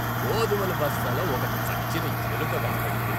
గోధుమల బస్తాలో ఒక చచ్చిన ఎలుక కనపడింది.